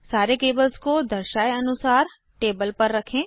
सारे केबल्स को दर्शाये अनुसार टेबल पर रखें